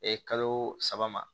kalo saba ma